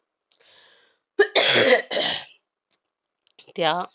त्या